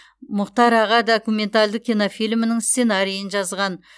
мұхтар аға документалды кинофильмінің сценарийін жазған